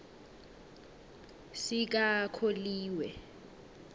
sikakholiwe